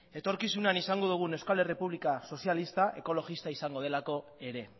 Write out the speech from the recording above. etorkizunean izango dugun euskal errepublika sozialista ekologista izango delako ere